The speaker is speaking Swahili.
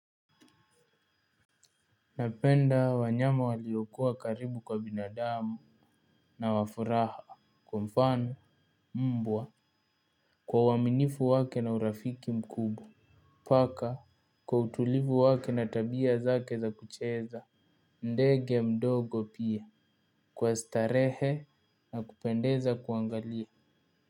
Napenda wanyama waliokuwa karibu kwa binadamu na wa furaha kwa mfano mbwa kwa uwaminifu wake na urafiki mkubwa paka kwa utulivu wake na tabia zake za kucheza ndege mdogo pia kwa starehe na kupendeza kuangalia.